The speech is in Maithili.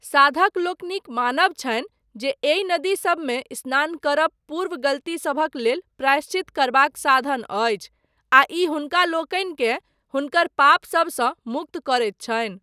साधक लोकनिक मानब छनि जे एहि नदीसबमे स्नान करब पूर्व गलतीसभक लेल प्रायश्चित करबाक साधन अछि, आ ई हुनकालोकनिकेँ हुनकर पापसबसँ मुक्त करैत छनि।